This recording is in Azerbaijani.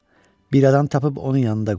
Bir adam tapıb onun yanında qoy.